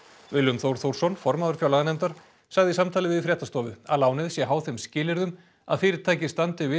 Willum Þór Þórsson formaður fjárlaganefndar sagði í samtali við fréttastofu að lánið sé háð þeim skilyrðum að fyrirtækið standi við